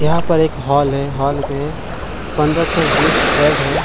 यहाँ पर एक हॉल है हॉल में पन्दरा से बीस बेड हैं।